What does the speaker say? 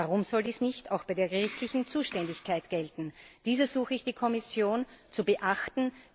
Und warum soll dies nicht auch bei der gerichtlichen Zuständigkeit gelten? Dies ersuche ich die Kommission zu beachten.